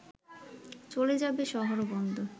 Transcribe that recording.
চ’লে যাবে শহর বন্দর